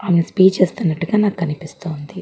ఆమె స్పీచ్ ఇస్తున్నట్టుగా నాకు కనిపిస్తున్నది.